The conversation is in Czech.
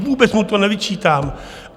Vůbec mu to nevyčítám.